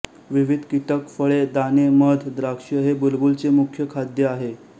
विविध कीटक फळे दाणे मध द्राक्षे हे बुलबुलचे मुख्य खाद्य आहे